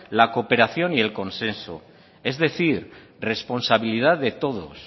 la cooperación y el consenso es decir responsabilidad de todos